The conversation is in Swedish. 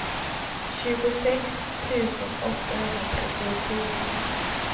tjugosex tusen åttahundratrettiofyra